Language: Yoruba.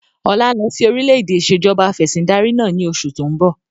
Ọlá ń lọ síí orílẹ̀-èdẹ̀ ìsèjọba afẹ̀sindarí náà ni oṣù to ń bọ̀